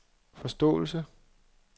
forståelse